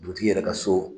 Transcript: Dugutigi yɛrɛ ka so